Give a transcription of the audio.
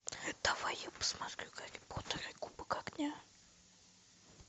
давай я посмотрю гарри поттер и кубок огня